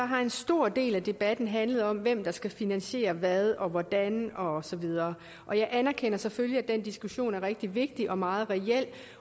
har en stor del af debatten handlet om hvem der skal finansiere hvad og hvordan og så videre og jeg anerkender selvfølgelig at den diskussion er rigtig vigtig og meget reel